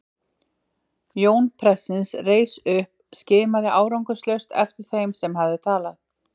Jón prestsins reis upp og skimaði árangurslaust eftir þeim sem hafði talað.